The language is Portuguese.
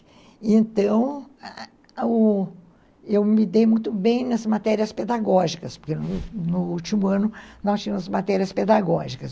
Então, ãh, eu me dei muito bem nas matérias pedagógicas, porque no último ano nós tínhamos matérias pedagógicas.